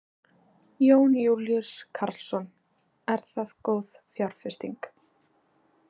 Jón Júlíus Karlsson: Er það góð fjárfesting?